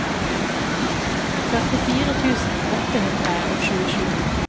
førtifire tusen åtte hundre og tjuesju